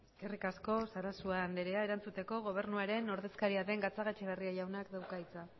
eskerrik asko sarasua andrea erantzuteko gobernuaren ordezkaria den gatzagaetxebarria jaunak dauka hitza